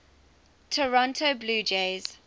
toronto blue jays